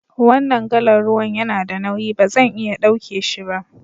Wanan galan ruwan ya na da nauyi, ba zan iya dauke shi ba.